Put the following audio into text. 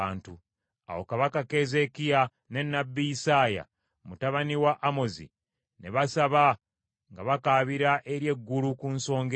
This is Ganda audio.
Awo Kabaka Keezeekiya ne nnabbi Isaaya mutabani wa Amozi ne basaba nga bakaabira eri eggulu ku nsonga eyo.